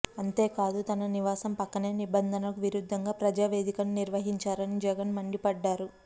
అంతేకాదు తన నివాసం పక్కనే నిబంధనలకు విరుద్దంగా ప్రజా వేదికను నిర్మించారని జగన్ మండిపడ్డారు